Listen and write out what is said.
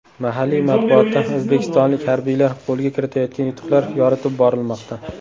Mahalliy matbuotda o‘zbekistonlik harbiylar qo‘lga kiritayotgan yutuqlar yoritib borilmoqda.